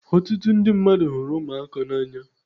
Ọtụtụ ndị mmadụ hụrụ ụmụaka n'anya